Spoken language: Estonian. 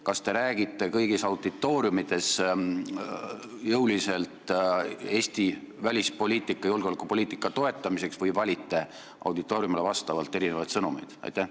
Kas te räägite kõigis auditooriumides jõuliselt Eesti välispoliitika, julgeolekupoliitika toetamisest või valite sõnumeid vastavalt auditooriumile?